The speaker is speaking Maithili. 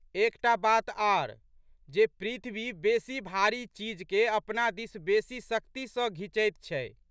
एक टा बात आर जे पृथवी बेशी भारी चीजके अपना दिस बेशी शक्ति सँ घिचैत छै।